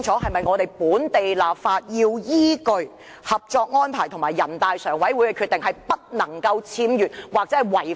進行本地立法時是否必須依據《合作安排》及全國人大常委會的決定行事，不能有任何僭越或違反？